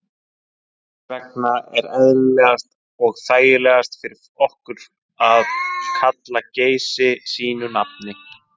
Þess vegna er eðlilegast og þægilegast fyrir okkur að kalla Geysi sínu nafni.